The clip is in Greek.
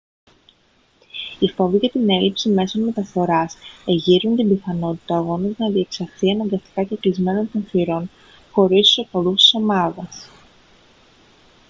οι φόβοι για την έλλειψη μέσων μεταφοράς εγείρουν την πιθανότητα ο αγώνας να διεξαχθεί αναγκαστικά κεκλεισμένων των θυρών χωρίς τους οπαδούς της ομάδας